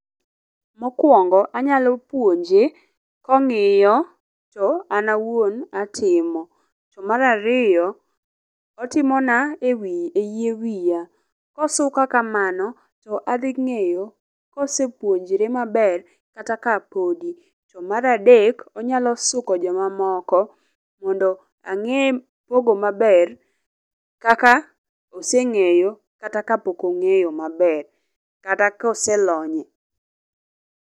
Mokwongo anyalo puonje kong'iyo to an awuon atimo. To mar ariyo, otimo na e wi e yie wiya. Kosuka kamano to adhi ng'eyo kosepuonjre maber kata ka podi. To mar adek, onyalo suko jomamoko mondo ang'e pogo maber kaka oseng'eyo kata ka pok ong'eyo maber. Kata koselonyie.